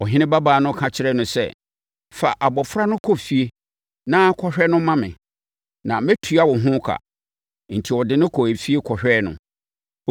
Ɔhene babaa no ka kyerɛɛ no sɛ, “Fa abɔfra no kɔ efie na kɔhwɛ no ma me na mɛtua wo ho ka.” Enti, ɔde no kɔɔ efie kɔhwɛɛ no.